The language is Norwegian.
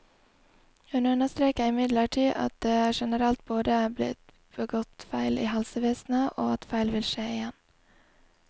Hun understreker imidlertid at det generelt både er blitt begått feil i helsevesenet, og at feil vil skje igjen.